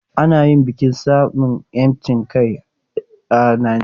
Ana yin bikin samun 'yancin kai a Najeriya ɗaya ga watan Oktoba.